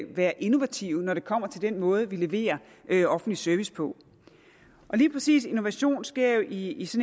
være innovative når det kommer til den måde vi leverer offentlig service på og lige præcis innovation sker i